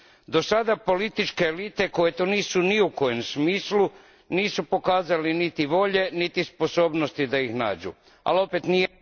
Do sada političke elite, koje to nisu ni u kojem smislu, nisu pokazale ni volje ni sposobnosti da ih nađu, ali opet nije